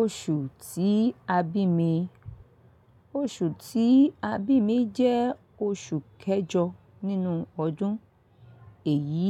Oṣù tí a bí mi, oṣù tí a bí mi jẹ́ oṣù kẹjọ nínú ọdún, èyí